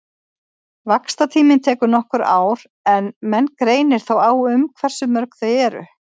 Vaxtartíminn tekur nokkur ár en menn greinir þó á um hversu mörg þau eru.